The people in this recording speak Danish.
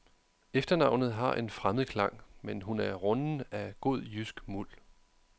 Efternavnet har en fremmed klang, men hun er runden af god, jysk muld.